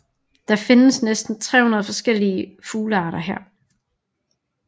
Der findes næsten 300 forskellige fuglearter her